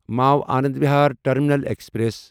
مو Anand Vihar terminal express